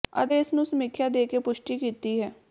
ਅਤੇ ਇਸ ਨੂੰ ਸਮੀਖਿਆ ਦੇ ਕੇ ਪੁਸ਼ਟੀ ਕੀਤੀ ਹੈ